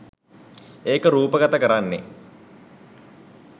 ඒක රූපගත කරන්නේ